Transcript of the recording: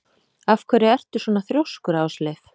Af hverju ertu svona þrjóskur, Ásleif?